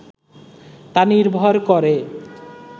তা নির্ভর করে